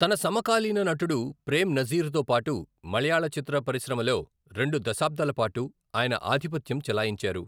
తన సమకాలీన నటుడు ప్రేమ్ నజీర్తో పాటు మలయాళ చిత్ర పరిశ్రమలో రెండు దశాబ్దాలపాటు ఆయన ఆధిపత్యం చెలాయించారు.